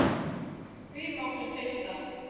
Því máttu treysta.